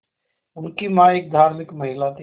उनकी मां एक धार्मिक महिला थीं